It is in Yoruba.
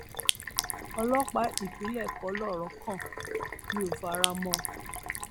ọlọpàá ìpínlẹ kọ lọrọ kàn mí ò fara mọ ọn